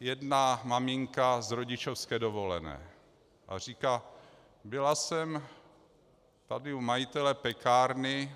jedna maminka z rodičovské dovolené a říká: Byla jsem tady u majitele pekárny.